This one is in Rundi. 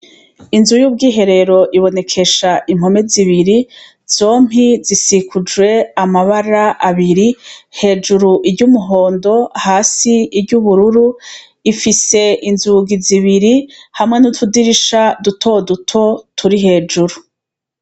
Inzu y'ubwiherero ibonekesha impome zibiri zompi zisikujwe amabara abiri hejuru iry'umuhondo hasi iry'ubururu ifise inzugi zibiri hamwe n'utudirisha dutoduto turi hejuru.